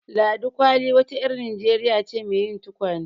Ladi Kwalli wa ta ƴar Najeriya ce mai yin tukwane.